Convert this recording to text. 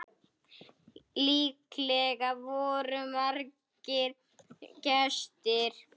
Líklega voru margir gestir.